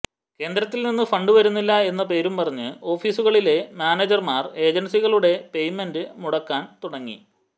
കേന്ദ്രത്തിൽ നിന്ന് ഫണ്ട് വരുന്നില്ല എന്ന പേരും പറഞ്ഞ് ഓഫീസുകളിലെ മാനേജർമാർ ഏജൻസികളുടെ പേയ്മെന്റ് മുടക്കാൻ തുടങ്ങി